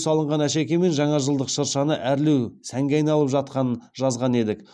салынған әшекеймен жаңажылдық шыршаны әрлеу сәнге айналып жатқанын жазған едік